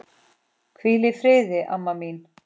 Hvíl í friði, amma mín.